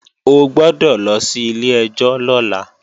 O gbọ́dọ̀ lọ sí ilé-ẹjọ́ lọ́la!